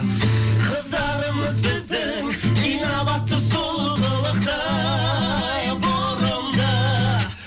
қыздарымыз біздің инабатты сұлу қылықты бұрымды